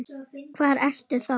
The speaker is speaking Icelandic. Hvar ertu þá?